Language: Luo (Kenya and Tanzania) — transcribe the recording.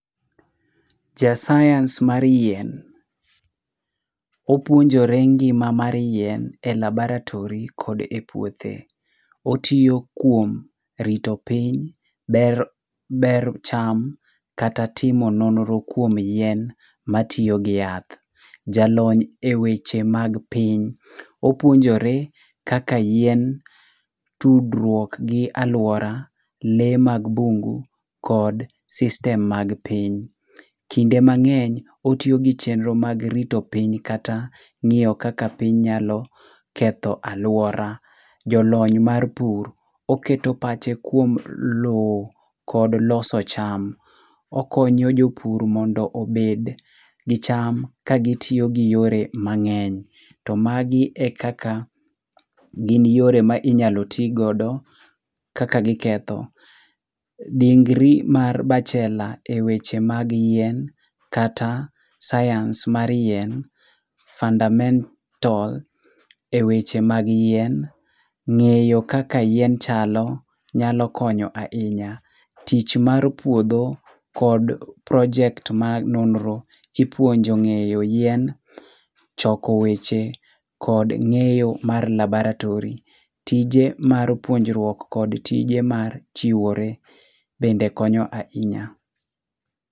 Ja science mar yien. Opuonjore ngima mar yien e labaratory kod e puothe. Otio kuom rito piny ber ber cham, kata timo nonro kuom yien matiogi yath. Ja lony e weche mag piny. Opuonjore kaka yien tudrwuok gi aluora, lee mag bungu kod system mag piny. Kinde mang'eny otiogi chenro mag rito piny kata ng'io kaka piny nyalo ketho aluora. Jolony mar pur, oketo pache kuom lowo kod loso cham. Okonyo jopur mondo obed gicham ka gitiogi yore mang'eny. To magi e kaka gin yore ma inyalo tiigodo kaka giketho. Dingri mar bachelor e weche mag yien kata science mar yien, fundamental e weche mag yien, ng'eyo kaka yien chalo, nyalo konyo a inya. Tich mar pudho kod project ma nonro ipuonjo ng'eyo yien, choko weche kod ng'eyo mar labaratory. Tije mar puonjrwuok kod tije mar chiwore bende konyo a inya.